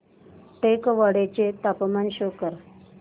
टेकवाडे चे तापमान शो कर